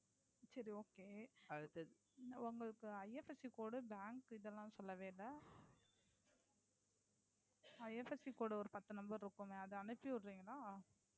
சரி Okay உங்களுக்கு IFSCCode Bank இது எல்லாம் சொல்லவேயில்லை.